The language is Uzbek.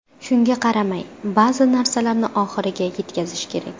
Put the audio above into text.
Shunga qaramay, ba’zi narsalarni oxiriga yetkazish kerak.